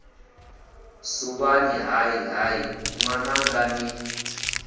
suvhani hai hai ṅwananga ni